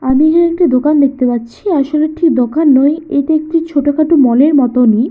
আমি এখানে একটি দোকান দেখতে পাচ্ছি আসলে এটি দোকান নয় এটি একটি ছোট খাটো মল -এর মতনই ।